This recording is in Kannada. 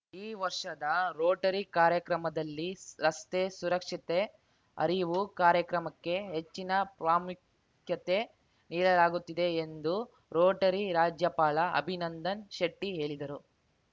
ಈ ವರ್ಷದ ರೋಟರಿ ಕಾರ್ಯಕ್ರಮದಲ್ಲಿ ರಸ್ತೆ ಸುರಕ್ಷತೆ ಅರಿವು ಕಾರ್ಯಕ್ರಮಕ್ಕೆ ಹೆಚ್ಚಿನ ಪ್ರಾಮುಖ್ಯತೆ ನೀಡಲಾಗುತ್ತಿದೆ ಎಂದು ರೋಟರಿ ರಾಜ್ಯಪಾಲ ಅಭಿನಂದನ್‌ ಶೆಟ್ಟಿಹೇಳಿದರು